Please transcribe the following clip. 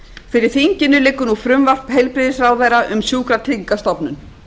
fyrir þinginu liggur nú frumvarp heilbrigðisráðherra um sjúkratryggingastofnun